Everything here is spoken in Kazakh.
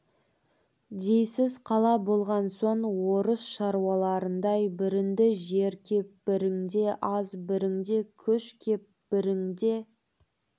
дейсіз қала болған соң орыс шаруаларындай бірінде жер кеп бірінде аз бірінде күш кеп бірінде